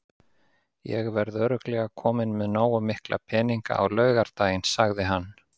Ég verð örugglega kominn með nógu mikla peninga á laugardaginn, sagði hann.